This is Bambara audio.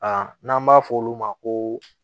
A n'an b'a fɔ olu ma ko